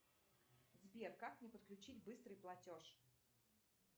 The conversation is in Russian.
сбер как мне подключить быстрый платеж